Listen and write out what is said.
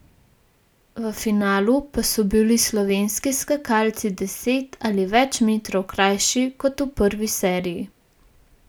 V finalu pa so bili slovenski skakalci deset ali več metrov krajši, kot v prvi seriji.